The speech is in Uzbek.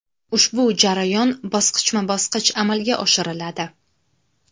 Ushbu jarayon bosqichma-bosqich amalga oshiriladi.